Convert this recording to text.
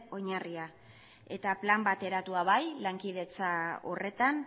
oinarria eta plan bat eratua bai lankidetza horretan